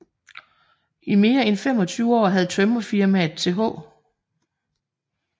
I mere end 25 år havde Tømrerfirmaet Th